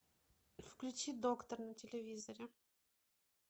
включи доктор на телевизоре